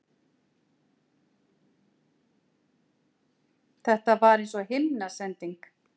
Þetta var eins og himnasending.